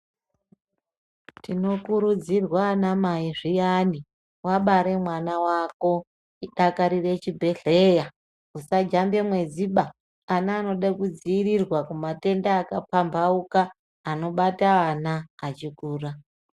Tinokurudzirwa ana mai zviyani wabare mwana wako tidakarire chibhedhleya tisajambe mwedziba. Ana anode kudziirirwa kumatenda akapambaukana anobata ana.